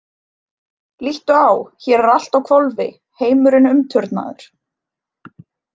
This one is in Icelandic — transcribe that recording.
Líttu á- hér er allt á hvolfi heimurinn umturnaður!